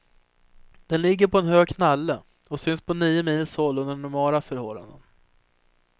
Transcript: Den ligger på en hög knalle och syns på nio mils håll under normala förhållanden.